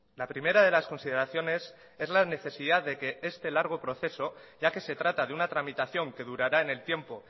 la primera de las consideraciones es la necesidad de que este largo proceso ya que se trata de una tramitación que durará en el tiempo